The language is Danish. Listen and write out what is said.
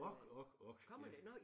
Ok ok ok ja